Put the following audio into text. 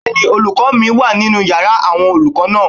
Bẹ́ẹ̀ni, olùkọ́ mi wà nínu yàrá àwọn olùkọ́ náà